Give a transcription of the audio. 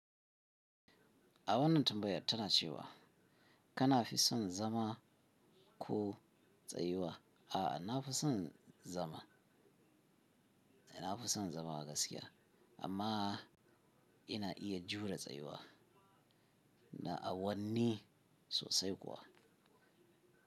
A wannan tambayar tana cewa kana fi son zama ko tsayuwa. A'a, na fi son zama, na fi son zama a gaskiya amma ina iya jure tsayuwa na awanni sosai kuwa.